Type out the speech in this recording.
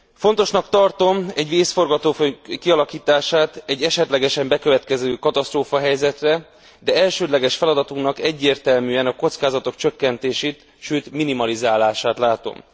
Fontosnak tartom egy vészforgatókönyv kialakítását egy esetlegesen bekövetkező katasztrófahelyzetre, de elsődleges feladatunknak egyértelműen a kockázatok csökkentését, sőt minimalizálását látom.